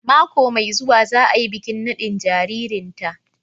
Mako mai zuwa za a yi bikin nadin jaririnta